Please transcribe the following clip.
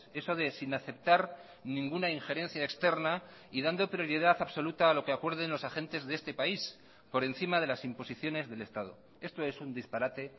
eso de sin aceptar ninguna ingerencia externa y dando prioridad absoluta a lo que acuerden los agentes de este país por encima de las imposiciones del estado esto es un disparate